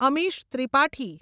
Amish Tripathi